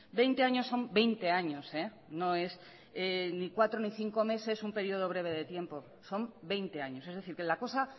veinte años son veinte años no es ni cuatro ni cinco meses un periodo breve de tiempo son veinte años es decir que la cosa